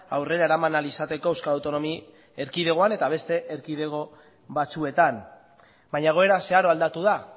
aurrera eraman ahal izateko euskal autonomia erkidegoan eta beste erkidego batzuetan baina egoera zeharo aldatu da